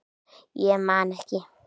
Ég man ekki